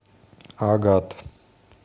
агат